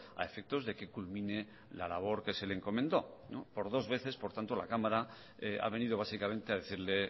a efectos de que culmine la labor que se le encomendó por dos veces por tanto la cámara ha venido básicamente a decirle